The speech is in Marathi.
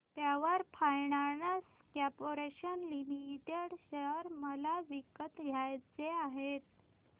power Finance Corporation Limited share मला विकत घ्यायचे आहेत